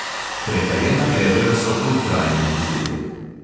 Prekajena bedra so poltrajni izdelek.